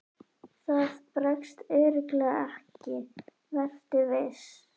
Það bregst örugglega ekki, vertu viss.